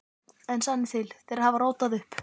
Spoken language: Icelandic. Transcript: En sannið til: Þeir hafa rótað upp.